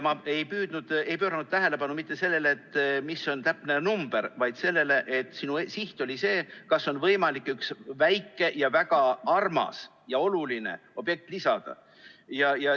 Ma ei pööranud tähelepanu mitte sellele, mis on täpne number, vaid sellele, et sinu siht oli see, kas on võimalik üks väike ja väga armas ja oluline objekt lisada.